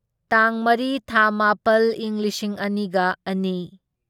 ꯇꯥꯡ ꯃꯔꯤ ꯊꯥ ꯃꯥꯄꯜ ꯢꯪ ꯂꯤꯁꯤꯡ ꯑꯅꯤꯒ ꯑꯅꯤ